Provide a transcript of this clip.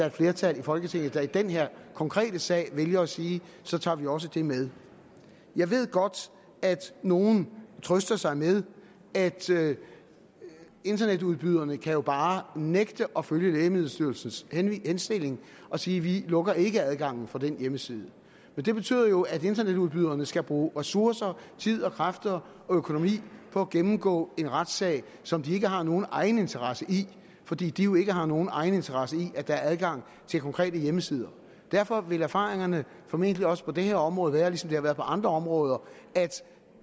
et flertal i folketinget der i den her konkrete sag vælger at sige så tager vi også det med jeg ved godt at nogle trøster sig med at internetudbyderne jo bare nægte at følge lægemiddelstyrelsens henstilling og sige vi lukker ikke adgangen for den hjemmeside men det betyder jo at internetudbyderne skal bruge ressourcer tid kræfter og økonomi på at gennemgå en retssag som de ikke har nogen egeninteresse i fordi de jo ikke har nogen egeninteresse i at der er adgang til konkrete hjemmesider derfor vil erfaringerne formentlig også på det her område være ligesom de har været på andre områder at